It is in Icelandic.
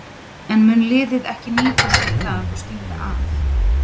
En mun liðið ekki nýta sér það og stinga af?